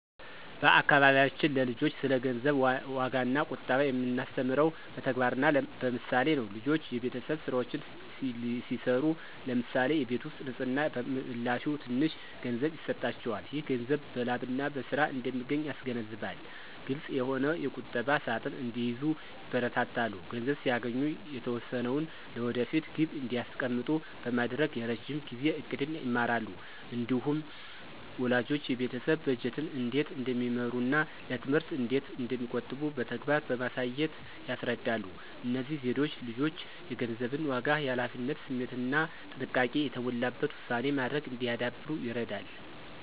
በአካባቢያችን ለልጆች ስለ ገንዘብ ዋጋና ቁጠባ የምናስተምረው በተግባርና በምሳሌ ነው። ልጆች የቤተሰብ ሥራዎችን ሲሠሩ (ለምሳሌ የቤት ውስጥ ንፅህና) በምላሹ ትንሽ ገንዘብ ይሰጣቸዋል። ይህ ገንዘብ በላብና በሥራ እንደሚገኝ ያስገነዝባል። ግልፅ የሆነ ቁጠባ ሣጥን እንዲይዙ ይበረታታሉ። ገንዘብ ሲያገኙ የተወሰነውን ለወደፊት ግብ እንዲያስቀምጡ በማድረግ የረዥም ጊዜ ዕቅድን ይማራሉ። እንዲሁም ወላጆች የቤተሰብ በጀትን እንዴት እንደሚመሩና ለትምህርት እንዴት እንደሚቆጥቡ በተግባር በማሳየት ያስረዳሉ። እነዚህ ዘዴዎች ልጆች የገንዘብን ዋጋ፣ የኃላፊነት ስሜትና ጥንቃቄ የተሞላበት ውሳኔ ማድረግ እንዲያዳብሩ ይረዳሉ።